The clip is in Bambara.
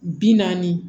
Bi naani